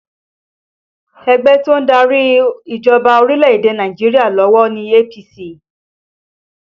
Ẹgbẹ́ to ń darí ìjọba orílẹ̀ èdè Nàìjíríà lọ́wọ́ ní APC